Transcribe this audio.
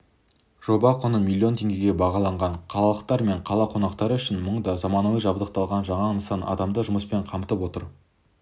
жоба құны миллион теңгеге бағаланған қалалықтар мен қала қонақтары үшін мұнда заманауи жабдықталған жаңа нысан адамды жұмыспен қамтып отыр